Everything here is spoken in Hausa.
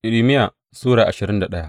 Irmiya Sura ashirin da daya